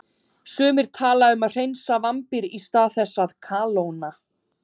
Sumir tala um að hreinsa vambir í stað þess að kalóna.